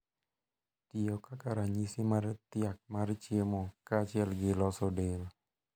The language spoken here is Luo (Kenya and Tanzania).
Tiyo kaka ranyisi mar thiak mar chiemo kaachiel gi loso del.